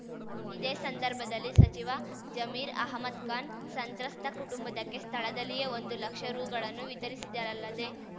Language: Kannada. ಇದೇ ಸಂದರ್ಭದಲ್ಲಿ ಸಚಿವ ಜಮೀರ್ ಅಹ್ಮದ್‍ಖಾನ್ ಸಂತ್ರಸ್ತ ಕುಟುಂಬದಕ್ಕೆ ಸ್ಥಳದಲ್ಲಿಯೇ ಒಂದು ಲಕ್ಷ ರೂಗಳನ್ನು ವಿತರಿಸಿದರಲ್ಲದೇ